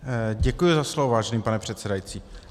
Děkuji za slovo, vážený pane předsedající.